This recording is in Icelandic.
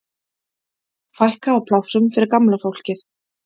Fækka á plássum fyrir gamla fólkið